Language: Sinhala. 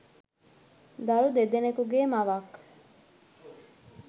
දරු දෙදෙනෙකුගේ මවක්.